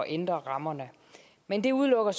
ændre rammerne men det udelukker